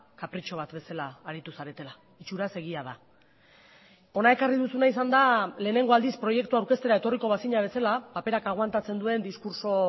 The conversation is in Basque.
kapritxo bat bezala aritu zaretela itxuraz egia da hona ekarri duzuna izan da lehenengo aldiz proiektua aurkeztera etorriko bazina bezala paperak aguantatzen duen diskurtso